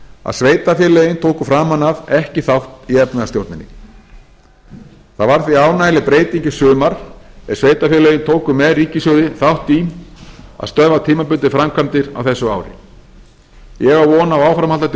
að sveitarfélögin tóku framan af ekki þátt í efnahagsstjórninni það varð því ánægjuleg breyting í sumar er sveitarfélögin tóku með ríkissjóði þátt í að stöðva tímabundið framkvæmdir á þessu ári ég á von á áframhaldandi